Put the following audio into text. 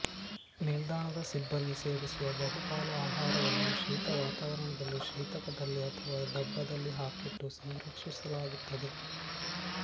ನಿಲ್ದಾಣದ ಸಿಬ್ಬಂದಿ ಸೇವಿಸುವ ಬಹುಪಾಲು ಆಹಾರವನ್ನು ಶೀತ ವಾತಾವರಣದಲ್ಲಿ ಶೀತಕದಲ್ಲಿ ಅಥವಾ ಡಬ್ಬದಲ್ಲಿ ಹಾಕಿಟ್ಟು ಸಂರಕ್ಷಿಸಲಾಗುತ್ತದೆ